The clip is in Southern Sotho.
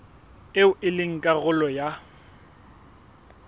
eo e leng karolo ya